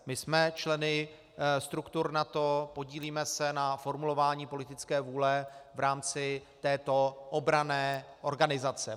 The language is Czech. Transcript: My jsme členy struktur NATO, podílíme se na formulování politické vůle v rámci této obranné organizace.